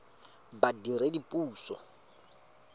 badiredipuso